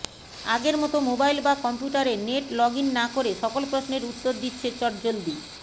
আগের মত মোবাইল বা কম্পিউটারে নেট লগইন না করে সকল প্রশ্নের উত্তর দিচ্ছে চট জলদি